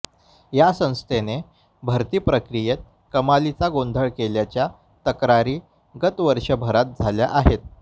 या संस्थेने भरती प्रक्रियेत कमालीचा गोंधळ केल्याच्या तक्रारी गत वर्षभरात झाल्या आहेत